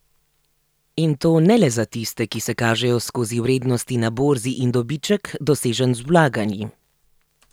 In to ne le za tiste, ki se kažejo skozi vrednosti na borzi in dobiček, dosežen z vlaganji.